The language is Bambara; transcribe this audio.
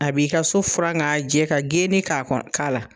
A b'i ka so furan ka jɛ ka genni k'a kɔnɔ k'a la